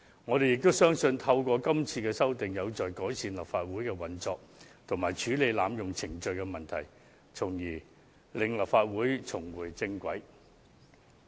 我們亦相信今次作出的修訂，將有助改善立法會的運作及處理濫用程序的問題，從而令立法會重回正軌。